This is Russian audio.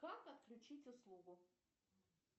как отключить услугу